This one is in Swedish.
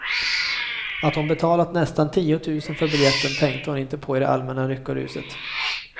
Att hon betalat nästan tiotusen för biljetten tänkte hon inte på i det allmänna lyckoruset.